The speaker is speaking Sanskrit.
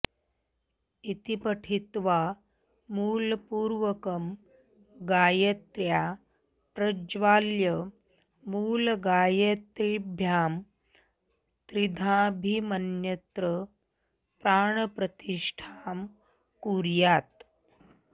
इति पठित्वा मूलपूर्वकं गायत्र्या प्रज्वाल्य मूलगायत्रीभ्यां त्रिधाभिमन्त्र्य प्राणप्रतिष्ठां कुर्यात्